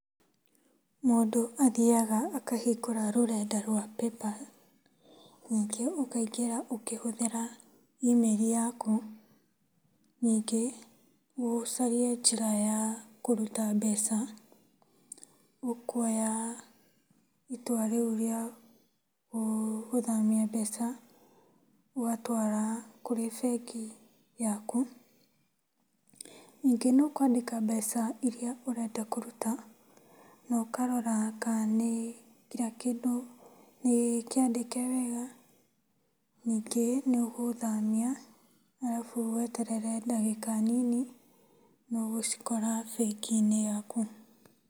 Mũndũ athiyaga akahingũra rũrenda rwa PayPal, ningĩ ũkaingĩra ũkĩhũthĩra e-mail yaku. Ningĩ ũcarie njĩra ya kũruta mbeca ũkuoya itua rĩu rĩa gũthamia mbeca ũgatwara kũrĩ bengi yaku. Ningĩ nĩũkwandĩka mbeca irĩa ũrenda kũruta. Na ũkarora kana kila kĩndũ nĩkĩandĩke wega, nĩngĩ nĩũgũthamia arabu weterere ndagĩka nini nĩũgũcikora bengi-inĩ yaku.